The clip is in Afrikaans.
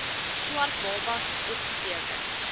swart babas opgeteken